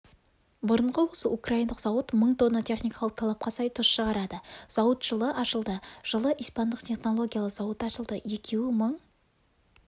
бұрынғы осы украиндық зауыт мың тонна техникалық талапқа сай тұз шығарады зауыт жылы ашылды жылы испандық технологиялы зауыт ашылды екеуі мың